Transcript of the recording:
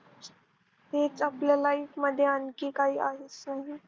हेच आपल्या Life मध्ये आणखी काही आहेच नाही.